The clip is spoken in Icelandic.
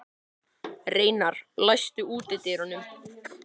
Reynar, læstu útidyrunum.